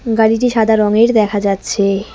গাড়িটি সাদা রঙের দেখা যাচ্ছে।